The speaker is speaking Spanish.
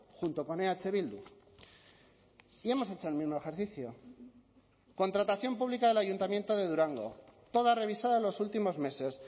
junto con eh bildu y hemos hecho el mismo ejercicio contratación pública del ayuntamiento de durango toda revisada en los últimos meses